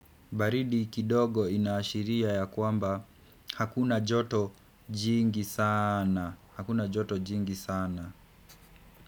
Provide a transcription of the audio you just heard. Baridi kidogo inaashiria ya kwamba Hakuna joto jingi sana.